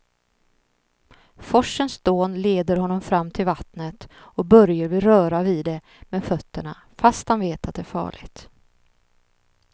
Forsens dån leder honom fram till vattnet och Börje vill röra vid det med fötterna, fast han vet att det är farligt.